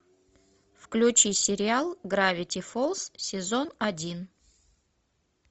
включи сериал гравити фолз сезон один